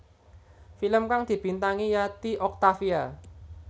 Film kang dibintangi Yati Octavia